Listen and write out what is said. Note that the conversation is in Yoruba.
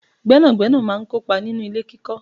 Gbẹ́nàgbẹ́nà máa ń kópa nínú ilé kíkọ